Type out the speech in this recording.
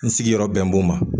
N sigiyɔrɔ bɛn b'o ma.